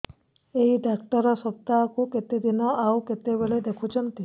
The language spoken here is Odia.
ଏଇ ଡ଼ାକ୍ତର ସପ୍ତାହକୁ କେତେଦିନ ଆଉ କେତେବେଳେ ଦେଖୁଛନ୍ତି